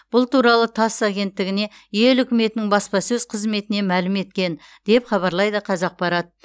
бұл туралы тасс агенттігіне ел үкіметінің баспасөз қызметінен мәлім еткен деп хабарлайды қазақпарат